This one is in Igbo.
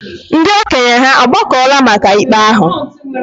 Ndị okenye hà agbakọla maka ikpe ahụ?